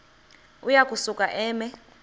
uya kusuka eme